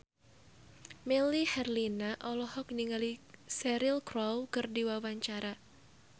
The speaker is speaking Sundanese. Melly Herlina olohok ningali Cheryl Crow keur diwawancara